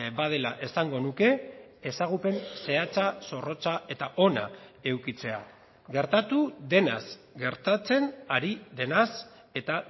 badela esango nuke ezagupen zehatza zorrotza eta ona edukitzea gertatu denaz gertatzen ari denaz eta